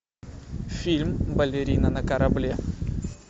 фильм балерина на корабле